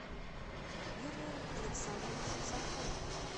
юрием александровичем сафоновым